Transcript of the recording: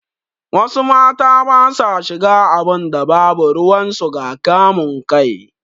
Wasu mata basa shiga abinda babu ruwan su ga kamun kai